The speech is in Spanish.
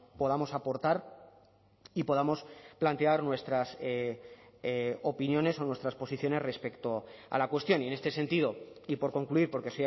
podamos aportar y podamos plantear nuestras opiniones o nuestras posiciones respecto a la cuestión y en este sentido y por concluir porque